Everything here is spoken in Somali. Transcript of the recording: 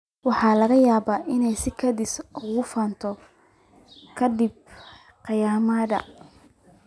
Waxa laga yaabaa inay si kedis ah u fiicnaato ka dib qaangaarnimada.